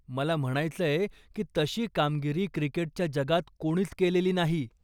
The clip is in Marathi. मला म्हणायचंय की तशी कामगिरी क्रिकेटच्या जगात कोणीच केलेली नाही.